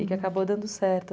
E que acabou dando certo.